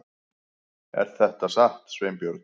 Er þetta satt, Sveinbjörn?